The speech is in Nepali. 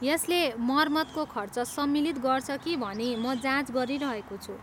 यसले मर्मतको खर्च सम्मिलित गर्छ कि भनी म जाँच गरिरहेको छु।